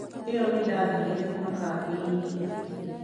Iyo nĩndathire ma-kambĩ-inĩ